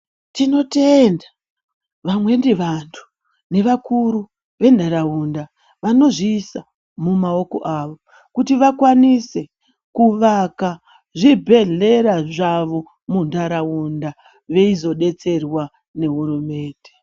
Tinotenda vamweni vantu nevakuru venharaunda vanozviisa mumaoko kuti vakwanise kuvaka zvibhedhlera zvavo muntaraunda, veizodetserwa nehurumende.